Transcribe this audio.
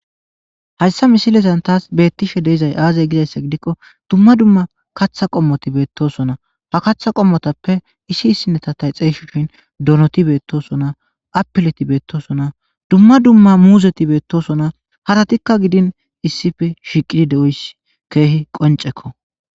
hayssa misilezan taas beettishe deizay aazay gizayssa gidikko dumma dumma kaththa qommoti beettosona ha kaththa qommotappe issi issineta tay xeyshin donoti beettosona apileti beettosona dumma dumma muuzeti beettosona haratikka gidin issifi shiiqidi de7oys keehi qoncekko